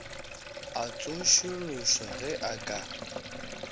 a tsošološwa ge a ka